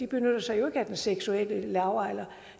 benytter sig af den seksuelle lavalder